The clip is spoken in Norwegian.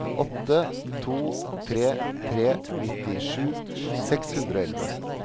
åtte to tre tre nittisju seks hundre og elleve